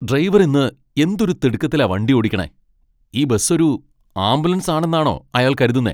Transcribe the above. Driver ഇന്ന് എന്തൊരു തിടുക്കത്തിലാ വണ്ടി ഓടിക്കണെ. ഈ ബസ്സൊരു ആംബുലൻസാണെന്നാണൊ അയാൾ കരുതുന്നെ ?